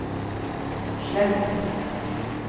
slett